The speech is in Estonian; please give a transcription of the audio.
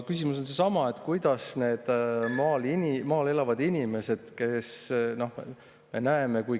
Küsimus on seesama, nende maal elavate inimeste kohta.